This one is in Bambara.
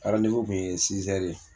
kun ye ye